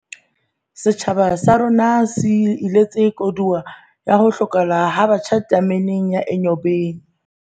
Setjhaba sa rona se iletse koduwa ya ho hlokahala ha batjha tameneng ya Enyobeni